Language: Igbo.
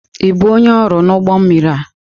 Ị bụ onye ọrụ n'ụgbọ mmiri a?